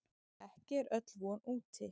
Ekki er öll von úti.